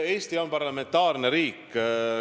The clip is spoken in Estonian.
Eesti on parlamentaarne riik.